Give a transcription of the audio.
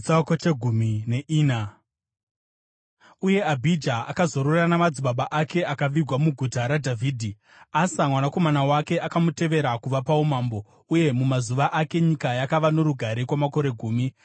Uye Abhija akazorora namadzibaba ake akavigwa muguta raDhavhidhi. Asa mwanakomana wake akamutevera kuva paumambo, uye mumazuva ake nyika yakava norugare kwamakore gumi.